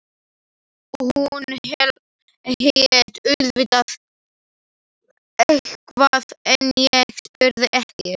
Hún hét auðvitað eitthvað en ég spurði ekki.